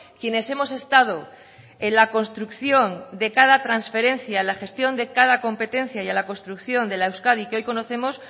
quienes hemos estado en la construcción de cada transferencia la gestión de cada competencia y la construcción de la euskadi que hoy conocemos